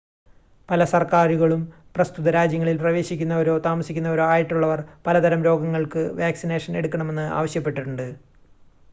പല സർക്കാരുകളും പ്രസ്തുത രാജ്യങ്ങളിൽ പ്രവേശിക്കുന്നവരോ താമസിക്കുന്നവരോ ആയിട്ടുള്ളവർ പലതരം രോഗങ്ങൾക്ക് വാക്സിനേഷൻ എടുക്കണമെന്ന് ആവശ്യപ്പെടുന്നുണ്ട്